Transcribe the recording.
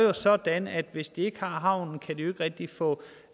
er sådan at hvis de ikke har havnen kan de ikke rigtig få